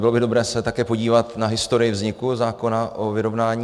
Bylo by dobré se také podívat na historii vzniku zákona o vyrovnání.